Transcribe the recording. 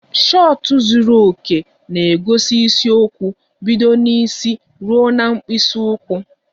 Shọtụ zuru oke na-egosi isiokwu bido n'isi ruo na mkpịsị ụkwụ